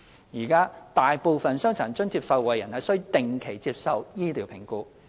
現時，大部分傷殘津貼受惠人須定期接受醫療評估。